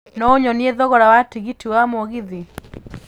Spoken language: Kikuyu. no ũnyonie thogora wa tigiti wa mũgithi